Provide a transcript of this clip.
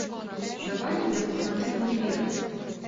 давай я посмотрю неверность